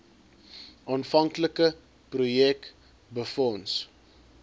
aanvanklike projek befonds